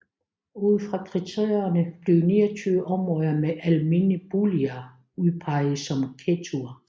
Ud fra kriterierne blev 29 områder med almene boliger udpeget som ghettoer